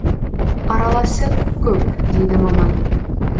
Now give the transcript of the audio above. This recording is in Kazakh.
араласы көп дейді маман